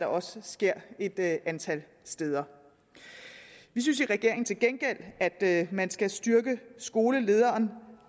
også sker et antal steder vi synes i regeringen til gengæld at man skal styrke skolelederen